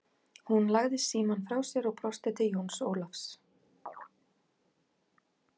Hún lagði síamm frá sér og brosti til Jóns Ólafs.